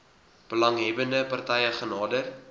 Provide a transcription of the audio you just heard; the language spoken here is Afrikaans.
belanghebbende partye genader